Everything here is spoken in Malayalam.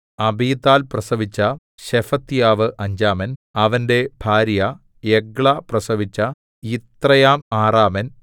അബീതാൽ പ്രസവിച്ച ശെഫത്യാവ് അഞ്ചാമൻ അവന്റെ ഭാര്യ എഗ്ലാ പ്രസവിച്ച യിത്രെയാം ആറാമൻ